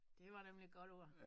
Det var nemlig et godt ord